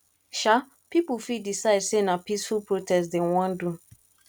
um pipo fit decide say na peaceful protest dem won do